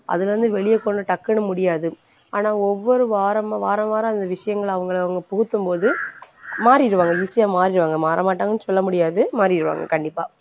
அதிலருந்து வெளியே போனா டக்குன்னு முடியாது. ஆனா ஒவ்வொரு வாரம் வாரவாரம் அந்த விஷயங்களை அவங்களை அவங்க புகுத்தும்போது மாறிடுவாங்க easy யா மாறிடுவாங்க மாறமாட்டாங்கன்னு சொல்லமுடியாது மாறிருவாங்க கண்டிப்பா